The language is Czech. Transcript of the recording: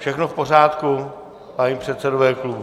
Všechno v pořádku, páni předsedové klubů?